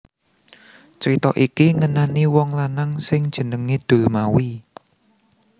Crita iki ngenani wong lanang sing jenengé Dulmawi